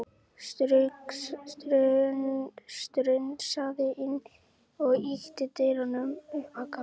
Strunsaði inn og ýtti dyrunum upp á gátt.